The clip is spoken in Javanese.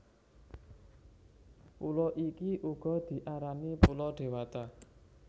Pulo iki uga diarani Pulo Dewata